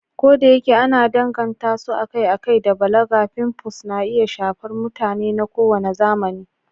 Kodayake ana danganta su akai-akai da balaga, pimples na iya shafar mutane na kowane zamani.